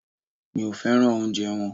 Mi ò féràn oúnjẹ wọn.